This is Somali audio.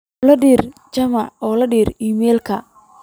olly dir juma oo dir iimayl